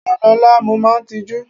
Rán Lọla, mo máa tijú!